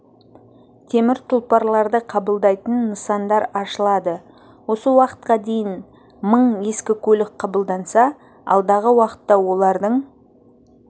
темір тұлпарларды қабылдайтын нысандар ашылады осы уақытқа дейін мың ескі көлік қабылданса алдағы уақытта олардың